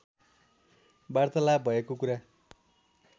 वार्तालाप भएको कुरा